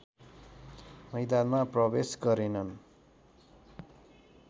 मैदानमा प्रवेश गरेनन्